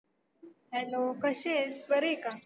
hello कशी आहेस? बरी आहे का?